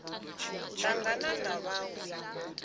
tangana na vhaṅwe na u